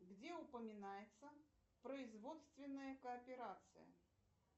где упоминается производственная кооперация